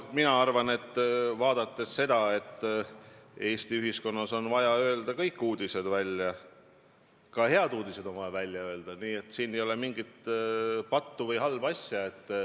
Mina arvan, et Eesti ühiskonnas on vaja öelda kõik uudised välja, ka head uudised on vaja välja öelda, nii et siin ei ole mingit pattu või halba asja.